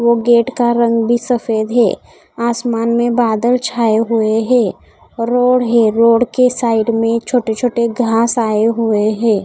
ओ gate का रंग भी सफेद है आसमान में बादल छाए हुए हैं रोड है रोड के साइड में छोटे छोटे घास आए हुए है।